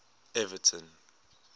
everton